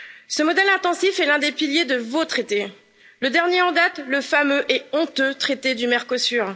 Ce modèle intensif est l'un des piliers de vos traités, le dernier en date, le fameux et honteux traité du Mercosur.